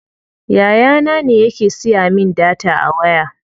Yaya na ne yake siya min data a waya.